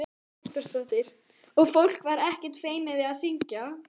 Hugrún Halldórsdóttir: Og fólk var ekkert feimið við að syngja?